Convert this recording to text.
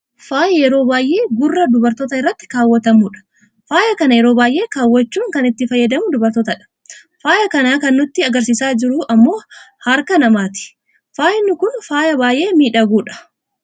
faaya yeroo baayyee gurra dubartootaa irratti kaawwatamudha. faaya kana yeroo baayyee kawwaachuun kan itti fayyadamu dubartoota dha. faaya kana kan nutti agarsiisaa jiru ammoo harka namaati. faayi kun faaya baayyee miidhagu dha.